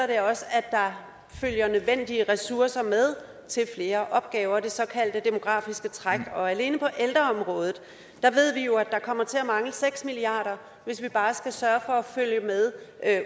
det også at der følger de nødvendige ressourcer med til flere opgaver det såkaldte demografiske træk alene på ældreområdet ved vi jo at der kommer til at mangle seks milliard kr hvis vi bare skal sørge for at følge med